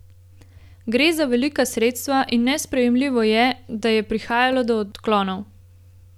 Gre za velika sredstva in nesprejemljivo je, da je prihajalo do odklonov.